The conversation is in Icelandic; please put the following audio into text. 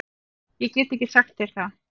Ég get ekki sagt þér það.